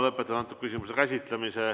Lõpetan selle küsimuse käsitlemise.